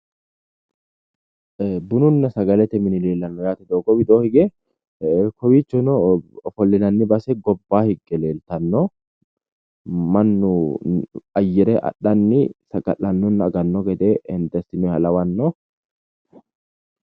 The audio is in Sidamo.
Bununna sagalete mine leellano doogo widoo hige kowiichono ofolinnani base gobba hige leeltano Manu ayere adhanni saga'lanonna agano gede hende asinoonniha lawano.